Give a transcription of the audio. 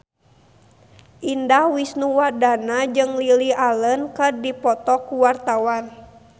Indah Wisnuwardana jeung Lily Allen keur dipoto ku wartawan